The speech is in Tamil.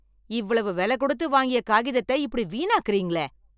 இவ்வளவு விலை கொடுத்து வாங்கிய காகிதத்தை இப்படி வீணாக்குறீங்களே